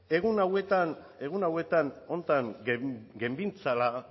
egun hauetan honetan genbiltzala